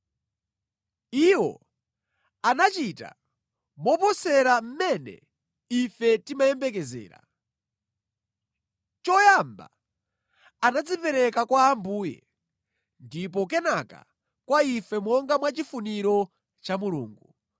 Iwo anachita moposera mmene ife timayembekezera. Choyamba anadzipereka kwa Ambuye ndipo kenaka kwa ife monga mwa chifuniro cha Mulungu.